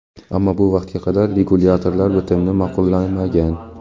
ammo bu vaqtga qadar regulyatorlar bitimni ma’qullamagan.